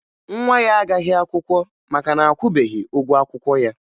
Nwa ya agaghị akwụkwọ maka na akwụbeghi ụgwọ akwụkwọ ya